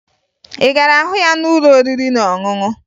Ị gara hụ ya n'ụlọ oriri na ọṅụṅụ?